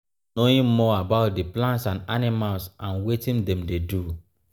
knowing more about di plants and animals and wetin dem dey do